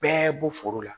Bɛɛ bɔ foro la